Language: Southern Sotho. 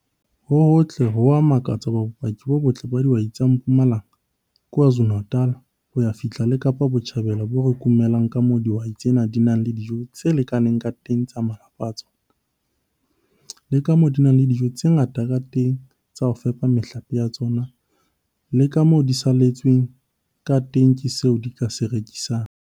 Ho hotle, ho a makatsa hobane bopaki bo botle ba dihwai tsa Mpumalanga, KwaZulu-Natal hoy a fihla le Kaapa Botjhabela bo re kumela ka moo dihwai tsena di nang le dijo tse lakaneng ka teng tsa malapa a tsona, le ka moo di nang le dijo tse ngata ka teng tsa ho fepa mehlape ya tsona, le ka moo di salletsweng ka teng ke seo di ka se rekisang.